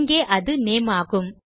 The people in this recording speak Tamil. இங்கே அது நேம் ஆகும்